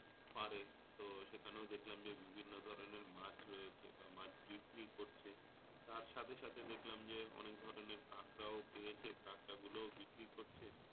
পাড়ে। তো সেখানে ও দেখলাম যে বিভিন্ন ধরনের মাছ রয়েছে বা মাছ বিক্রি করছে। তার সাথে সাথে দেখলাম যে অনেকগুলো কাঁকড়া বিছে কাঁকড়া ও বিক্রি করছে।